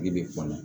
Ne bɛ kɔ la